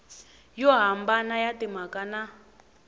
yo hambana ya timhaka na